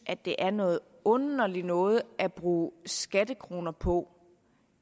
det er noget underligt noget at bruge skattekroner på